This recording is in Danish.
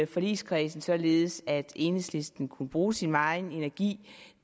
forligskredsen således at enhedslisten kunne bruge sin megen energi